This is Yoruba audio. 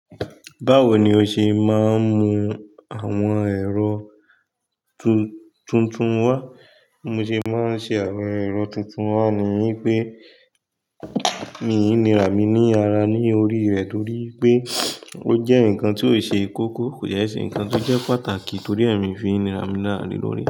Báwo ni o ṣe máa ń mú àwọn ẹ̀rọ tún tuntun wá? Mo ṣe máa ń ṣe àwọn ẹ̀rọ tuntun wá ni wípé mi ò ní ra mi ní ara ní orí rẹ̀ torí pé ó jẹ́ nǹkan tí ó ṣe ikoko, kò de ṣe nǹkan tí ó jẹ́ pàtàkì torí ẹ́ ni fi nira mí lárà le lórí.